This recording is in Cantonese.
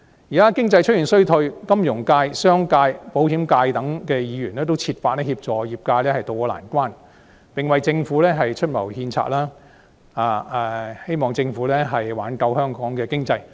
現時經濟出現衰退，金融界、商界及保險界等的議員均設法協助業界渡過難關，為政府出謀獻策，協助政府挽救香港的經濟。